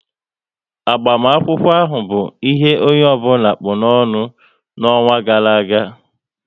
Agbamakwụkwọ ahụ bụ ihe onye ọbụla kpụ n'ọnụ n'ọnwa gara aga